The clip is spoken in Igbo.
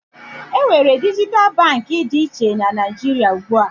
Enwere dijital Baankị dị iche na Naijiria ugbua